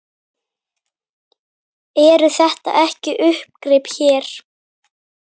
Eru þetta ekki uppgrip hér?